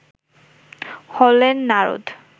হলেন নারদ